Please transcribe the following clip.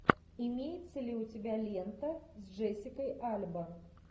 имеется ли у тебя лента с джессикой альба